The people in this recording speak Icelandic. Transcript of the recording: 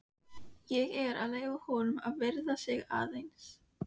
Ég er að leyfa honum að viðra sig aðeins.